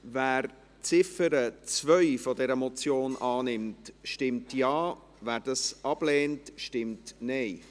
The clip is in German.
Wer die Ziffer 2 dieser Motion annimmt, stimmt Ja, wer dies ablehnt, stimmt Nein.